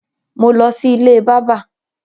mọ ló sì ilé bàbá.